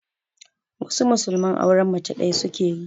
Wasu musulman aure mace ɗaya suke yi.